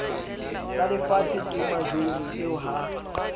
tsalefatshe ke majoro eo ha